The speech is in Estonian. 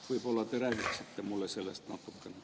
Võib-olla te räägite mulle nendest natukene.